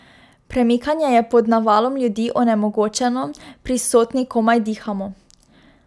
Premikanje je pod navalom ljudi onemogočeno, prisotni komaj dihamo.